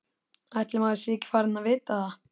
Ætli maður sé ekki farinn að vita það.